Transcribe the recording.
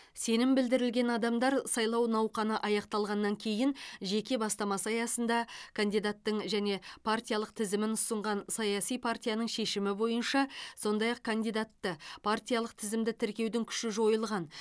сенім білдірілген адамдар сайлау науқаны аяқталғаннан кейін жеке бастамасы аясында кандидаттың және партиялық тізімін ұсынған саяси партияның шешімі бойынша сондай ақ кандидатты партиялық тізімді тіркеудің күші жойылған